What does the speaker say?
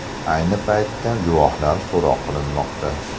Ayni paytda guvohlar so‘roq qilinmoqda.